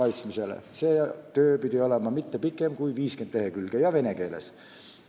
See töö pidi olema kõige rohkem 50 lehekülge pikk ja vene keeles.